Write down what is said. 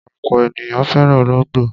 Ọ̀pọ̀ ènìyàn fẹ́ràn olóńgbò.